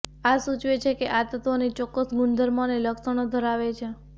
આ સૂચવે છે કે આ તત્વોની ચોક્કસ ગુણધર્મો અને લક્ષણો ધરાવે છે